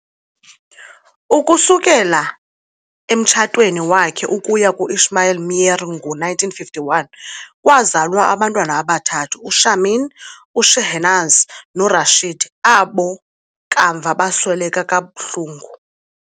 Ukusukela emtshatweni wakhe ukuya ku-Ismail Meer ngo-1951 kwazalwa abantwana abathathu, uShamin, uShehnaz noRashid, abo kamva basweleka kabuhlungu.